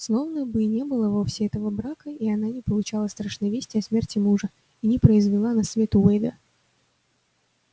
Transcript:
словно бы и не было вовсе этого брака и она не получала страшной вести о смерти мужа и не произвела на свет уэйда